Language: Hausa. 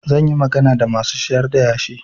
Zan yi magana da masu sayar da yashi.